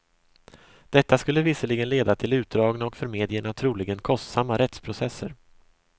Detta skulle visserligen leda till utdragna och för medierna troligen kostsamma rättsprocesser.